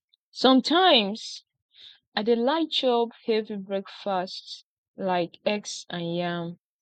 some times i dey like chop heavy breakfast like eggs and yam